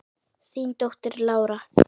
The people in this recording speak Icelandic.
Þín dóttir, Lára.